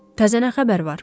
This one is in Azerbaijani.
Təzə nə xəbər var?